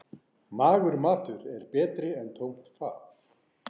Magur matur er betri en tómt fat.